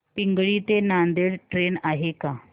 पिंगळी ते नांदेड ट्रेन आहे का